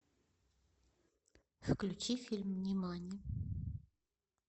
включи фильм нимани